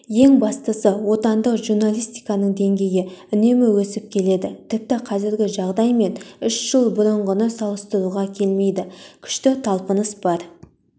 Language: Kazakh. ең бастысы отандық журналистиканың деңгейі үнемі өсіп келеді тіпті қазіргі жағдай мен үш жыл бұрынғыны салыстыруға келмейді күшті талпыныс бар